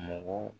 Mɔgɔ